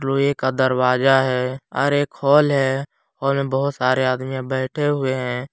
लोहे का दरवाजा है और एक हॉल है हॉल में बहुत सारे आदमीया बैठे हुए हैं।